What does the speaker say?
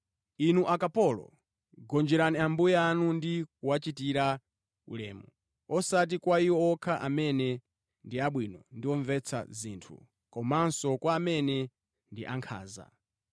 Inu akapolo, gonjerani ambuye anu ndi kuwachitira ulemu, osati kwa iwo okha amene ndi abwino ndi omvetsa zinthu, komanso kwa amene ndi ankhanza.